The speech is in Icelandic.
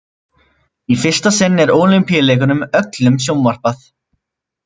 Í fyrsta sinn er Ólympíuleikunum öllum sjónvarpað.